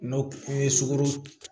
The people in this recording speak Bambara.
N'o o ye sugoro